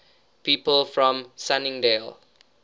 people from sunningdale